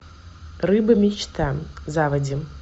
рыба мечта заводи